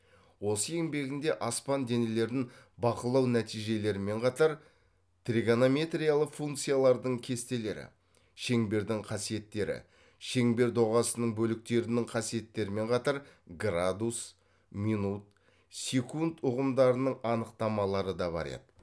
осы еңбегінде аспан денелерін бақылау нәтижелерімен қатар тригонометриялық функциялардың кестелері шеңбердің қасиеттері шеңбер доғасының бөліктерінің қасиеттерімен қатар градус минут секунд ұғымдарының анықтамалары да бар еді